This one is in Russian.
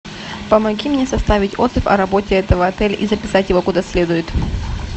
помоги мне составить отзыв о работе этого отеля и записать его куда следует